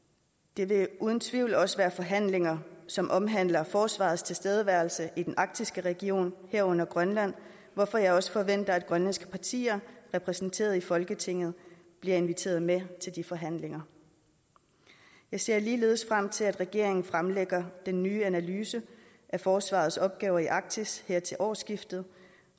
det vil uden tvivl også være forhandlinger som omhandler forsvarets tilstedeværelse i den arktiske region herunder grønland hvorfor jeg også forventer at grønlandske partier repræsenteret i folketinget bliver inviteret med til de forhandlinger jeg ser ligeledes frem til at regeringen fremlægger den nye analyse af forsvarets opgaver i arktis her til årsskiftet